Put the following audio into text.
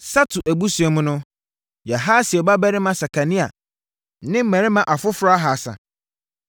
Satu abusua mu no: Yahasiel babarima Sekania ne mmarima afoforɔ ahasa.